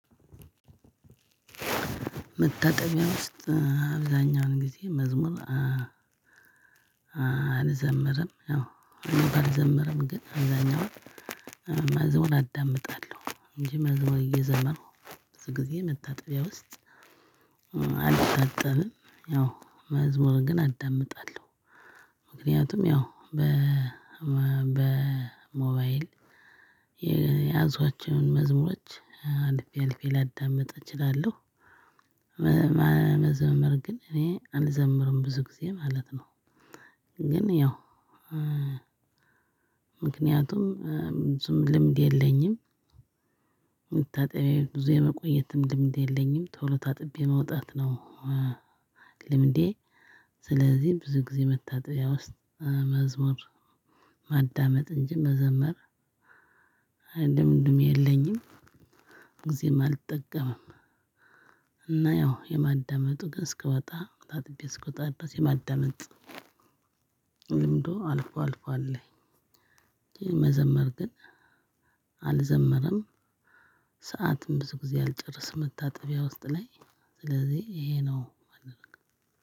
መታጠቢያ ውስጥ አብዛኛውን ጊዜ መዝሙር አንዘም አልዘምርም አልዘምርም ግን አብዛኛውን መዝሙር አዳምጣለሁ እንጂ መዝሙር እየዘመሩ ብዙ ጊዜ መታጠቢያ ውስጥ። አልታጠብም ያው መዝሙር ግን አዳምጣለሁ። ምክንያቱም ያው በ በ በሞባይል የያዟቸውን መዝሙሮች አልፌ አልፌ ላዳምጥ እችላለሁ። መዘመር ግን እኔ አልዘምርም ብዙ ጊዜ ማለት ነው። ግን ያው ምክንያቱም ልምድ የለኝም። መታጠቢያ ብዙ የመቆየትም ልምድ የለኝም ቶሎ ታጥቤ መውጣት ነው። ልምዴ ስለዚህ ብዙ ጊዜ መታጠቢያ ውስጥ መዝሙር ማዳመጥ እንጂ መዘመር አይደለም ልምድም የለኝም። ጊዜም አልጠቀምም። እና ያው የማዳመጡ ግን እስክወጣ ታጥቤ እስክወጣ ድረስ የማዳመጥ ልምዱ አልፏል አልፏል አለኝ። መዘመር ግን አልዘምርም። ሰዓትም ብዙ ጊዜ አልጨረስም መታጠቢያ ውስጥ ላይ ስለዚህ ይሄ ነው።